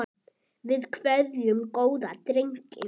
Við kveðjum góðan dreng.